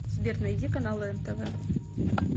сбер найди каналы нтв